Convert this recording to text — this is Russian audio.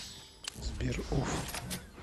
сбер уф